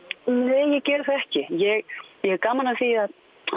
nei ég geri það ekki ég hef gaman af því að